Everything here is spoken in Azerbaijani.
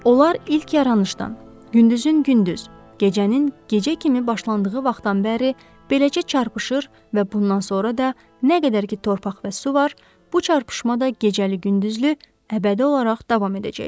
Onlar ilk yaranışdan, gündüzün gündüz, gecənin gecə kimi başlandığı vaxtdan bəri, beləcə çarpışır və bundan sonra da nə qədər ki torpaq və su var, bu çarpışma da gecəli-gündüzlü əbədi olaraq davam edəcəkdir.